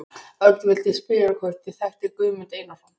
Örn vildi spyrja hvort ég þekkti Guðmund Einarsson.